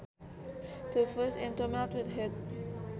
To fuse is to melt with heat